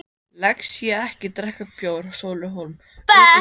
Lexía-ekki drekka bjór Sóli Hólm, uppistandari Hvað er í gangi?